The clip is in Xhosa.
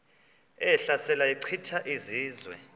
ehlasela echitha izizwe